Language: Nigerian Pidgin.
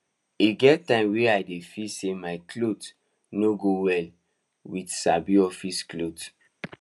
e get times wey i dey feel say my clothes no go well with sabi office clothes